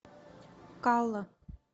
калла